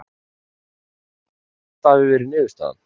Ég er ekkert pirraður þó þetta hafi verið niðurstaðan.